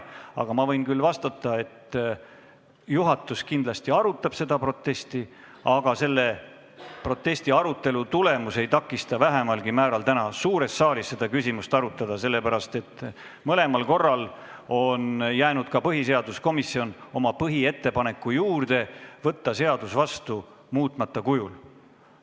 Küll aga võin ma öelda, et juhatus kindlasti arutab seda protesti, aga selle protesti arutelu tulemus ei takista vähimalgi määral täna suures saalis seda küsimust arutada, sest mõlemal korral on põhiseaduskomisjon jäänud oma põhiettepaneku juurde võtta seadus vastu muutmata kujul.